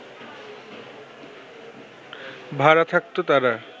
ভাড়া থাকতো তারা